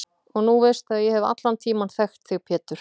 Og nú veistu að ég hef allan tímann þekkt þig Pétur.